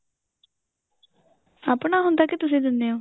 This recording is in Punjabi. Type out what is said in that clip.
ਆਪਣਾ ਹੁੰਦਾ ਕੇ ਤੁਸੀਂ ਦਿੰਨੇ ਓ